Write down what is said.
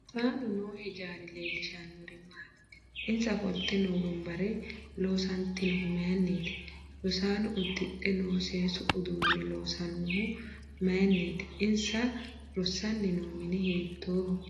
Rosaano noo hijaari leelishanori maati insa ofolte noo wonbare loosantinohu mayiiniti rosaano udhidhe noo seesu uduune loonsoonihu mayiiniti insa rosani noo mini hiitooho